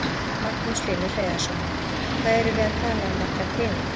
Magnús Hlynur Hreiðarsson: Hvað erum við að tala um margar tegundir?